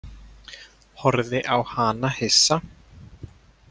Horfði á hana hissa.